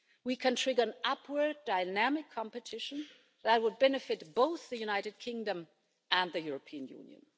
We can trigger an upward dynamic competition that would benefit both the United Kingdom and the European Union.